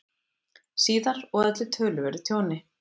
síðar og olli töluverðu tjóni.